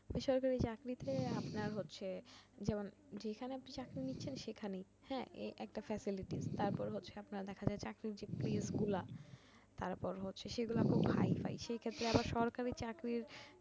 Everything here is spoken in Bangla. সরকারি চাকরিতে আপনার হচ্ছে যেমন যেখানে আপনি চাকরি নিচ্ছেন সেখানেই একটা familytis তারপর হচ্ছে আপনার দেখা যায় চাকরির যে place গুলা তারপর সেগুলা হচ্ছে খুব high ফাই সেক্ষেত্রে আবার সরকারি চাকরির